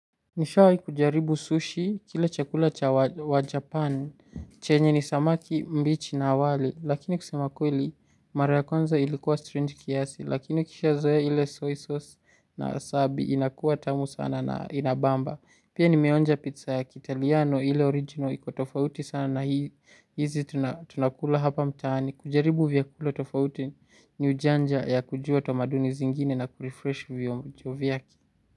Nishawahi kujaribu sushi, kile chakula cha wajapan, chenye ni samaki mbichi na wali, lakini kusema kweli, mara ya kwanza ilikuwa strange kiasi, lakini ukishazoea ile soy sauce na wasabi, inakuwa tamu sana na inabamba. Pia nimeonja pizza ya kiitaliano ile original, iko tofauti sana na hizi tunakula hapa mtaani. Kujaribu vyakula tofauti ni ujanja ya kujua tamaduni zingine na kurefresh vionjo vyake.